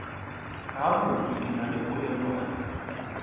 gabotse ke na le polelwana